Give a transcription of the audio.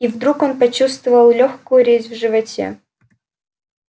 и вдруг он почувствовал лёгкую резь в животе